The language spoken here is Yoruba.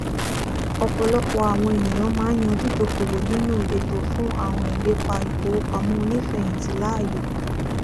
ọ̀pọ̀lọpọ̀ àwọn ènìyàn máa ń yan dídókowò nínú ètò fún àwọn ìlépa ìfowópamọ onífẹyìntì láàyò